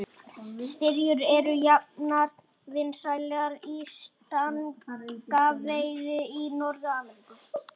Styrjur eru jafnframt vinsælar í stangaveiði í Norður-Ameríku.